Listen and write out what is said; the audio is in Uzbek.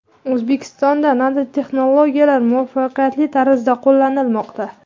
O‘zbekistonda nanotexnologiyalar muvaffaqiyatli tarzda qo‘llanilmoqda.